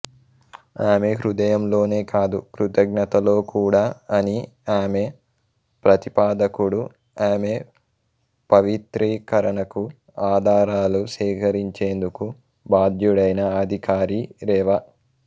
ఆమె హృదయంలోనే కాదు కృతజ్ఞతలో కూడా అని ఆమె ప్రతిపాదకుడు ఆమె పవిత్రీకరణకు ఆధారాలు సేకరించేందుకు బాధ్యుడైన అధికారి రెవ